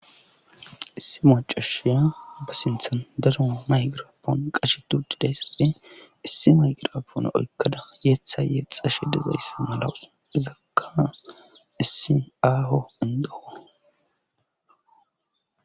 Issi macoshiya ba sinthan dadoma maygirapoon qashe turdiday safee issi mayqirapoona oykkada yeethayye xashe de zayssa malawus izakka issi aaho indoowo